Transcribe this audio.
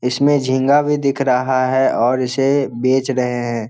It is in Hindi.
इसमें झींगा भी दिख रहा है और इसे बेच रहे हैं।